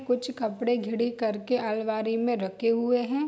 कुछ कपड़े करके अलमारी मे रखे हुए है।